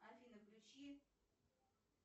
афина включи